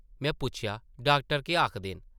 में पुच्छेआ, ‘‘डाक्टर केह् आखदे न?’’